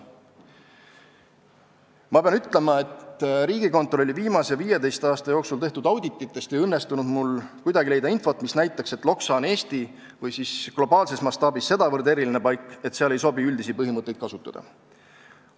" Ma pean ütlema, et Riigikontrolli viimase 15 aasta jooksul tehtud audititest ei õnnestunud mul kuidagi leida infot, mis näitaks, et Loksa on Eesti või globaalses mastaabis sedavõrd eriline paik, et seal ei sobi üldisi põhimõtteid kasutada.